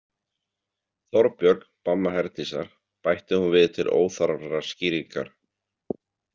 Þorbjörg, mamma Herdísar, bætti hún við til óþarfrar skýringar.